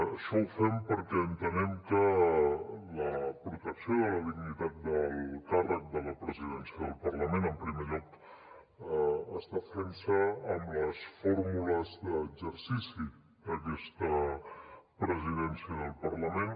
això ho fem perquè entenem que la protecció de la dignitat del càrrec de la presidència del parlament en primer lloc es defensa amb les fórmules d’exercici d’aquesta presidència del parlament